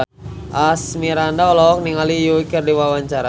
Asmirandah olohok ningali Yui keur diwawancara